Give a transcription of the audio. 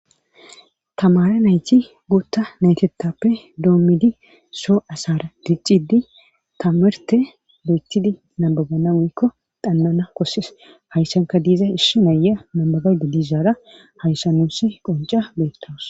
Tamara nayti gootta naytetappe doommidi soo asaara diccidi tamerte loychidi nabaganamuykko dannana kosses hayssanka diiza ishshi naya nambagade diishaara hayssa nusi qonca beettawus.